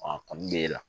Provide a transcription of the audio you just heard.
A kɔni bɛ e la